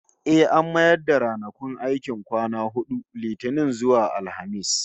Eh, an mayar da ranakun aiki kwana hudu, Litinin zuwa Alhamis